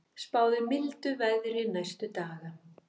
Spáð er mildu veðri næstu daga